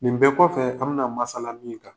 Nin bɛɛ kɔfɛ, an bi na masala min kan